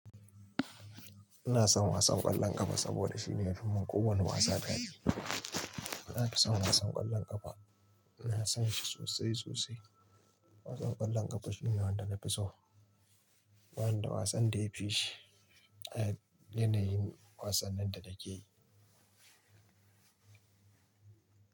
Ina son wasan ƙwallon ƙafa saboda shine yafi min ko wani wasa kyau. Na fi son wasan ƙwallon ƙafa, ina son shi sosai sosai. Wasan ƙwallon ƙafa shine wanda na fi so. Ba ni da wasan da ya fi shi. A yanayin wasannin da nake yi.